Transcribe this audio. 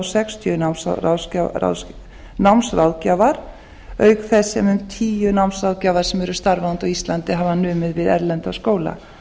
sextíu námsráðgjafar auk þess sem um tíu námsráðgjafar sem eru starfandi á íslandi hafa numið við erlenda skóla